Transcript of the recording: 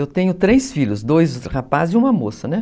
Eu tenho três filhos, dois rapazes e uma moça, né?